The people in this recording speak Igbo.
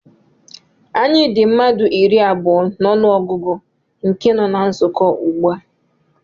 Anyị dị mmadụ iri abụọ na ọnụ ọgụgụ nke nọ na nzukọ ugbu a